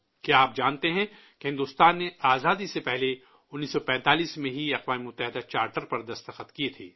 کیا آپ جانتے ہیں کہ بھارت نے آزادی سے پہلے 1945 میں ہی اقوام متحدہ کے چارٹر پر دستخط کیے تھے